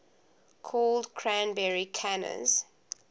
called cranberry canners